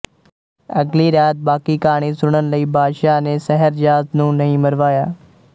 ਅਗਲੀ ਰਾਤ ਬਾਕੀ ਕਹਾਣੀ ਸੁਣਨ ਲਈ ਬਾਦਸ਼ਾਹ ਨੇ ਸ਼ਹਿਰਜ਼ਾਦ ਨੂੰ ਨਹੀਂ ਮਰਵਾਇਆ